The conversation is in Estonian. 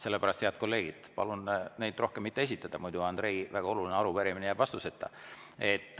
Sellepärast, head kolleegid, palun neid rohkem mitte esitada, sest muidu jääb Andrei väga oluline arupärimine vastuseta.